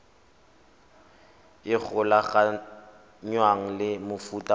e golaganngwang le mofuta o